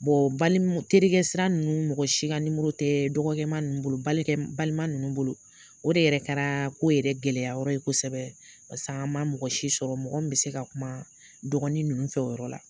terikɛ sira nunnu mɔgɔ si ka nimɔrɔ tɛ dɔgɔkɛma nunnu bolo, balima nunnu bolo, o de yɛrɛ kɛra ko yɛrɛ gɛlɛya yɔrɔ ye kosɛbɛ, paseke a ma mɔgɔ si sɔrɔ, mɔgɔ min bɛ se ka kuma dɔgɔni nunnu fɛ o yɔrɔ la.